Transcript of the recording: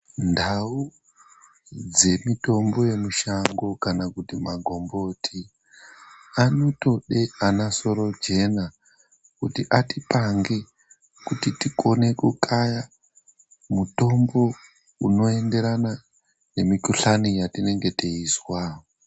Ndau dzemutombo yemushango kana kuti magomboti anotoda ana sorojena kuti atipange tikone kukaya mitombo inoenderana nemukuhlani yatinenge teizwa.